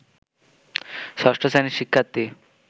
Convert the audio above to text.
ষষ্ঠ শ্রেণীর শিক্ষার্থী